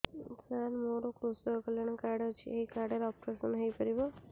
ସାର ମୋର କୃଷକ କଲ୍ୟାଣ କାର୍ଡ ଅଛି ଏହି କାର୍ଡ ରେ ଅପେରସନ ହେଇପାରିବ